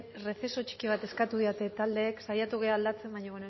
rezeso txiki bat eskatu didate taldeek saiatu gara aldatzen baina